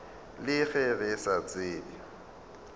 le ge re sa tsebe